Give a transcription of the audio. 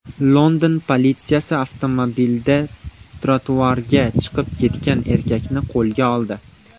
London politsiyasi avtomobilda trotuarga chiqib ketgan erkakni qo‘lga oldi.